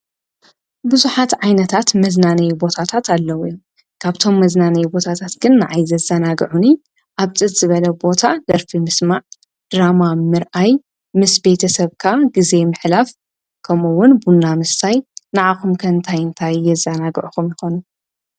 ኣነ ንዓይ ዘዝናንየንን ዘጫውተንን ኩዕሶ ምርኣይን ምጭዋትን።